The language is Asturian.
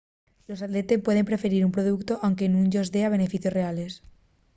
los atletes pueden preferir un productu anque nun-yos dea beneficios reales